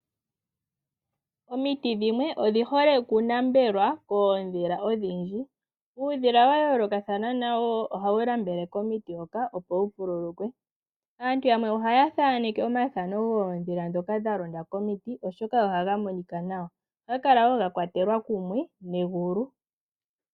Omiti dhimwe odhi hole okunambelwa koondhila odhindji, uudhila wa yoolokathana nawo ohawu lambele komiti hoka opo wu vululukwe. Aantu yamwe ohaya thaneke omathano goondhila ndhoka dha londa komiti oshoka ohaga monika nawa ohaga kala wo ga kwatelwa kumwe negulu.